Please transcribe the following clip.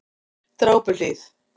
Drápuhlíð